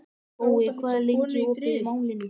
Gói, hvað er lengi opið í Málinu?